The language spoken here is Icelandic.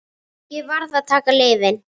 Ég varð að taka lyfin.